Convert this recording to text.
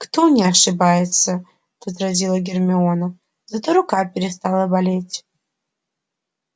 кто не ошибается возразила гермиона зато рука перестала болеть